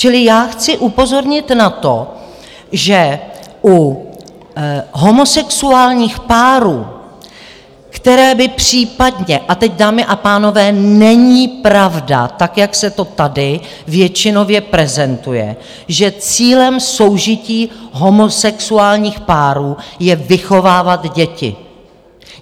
Čili já chci upozornit na to, že u homosexuálních párů, které by případně - a teď, dámy a pánové, není pravda, tak jak se to tady většinově prezentuje, že cílem soužití homosexuálních párů je vychovávat děti.